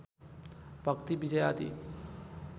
भक्ति विजय आदि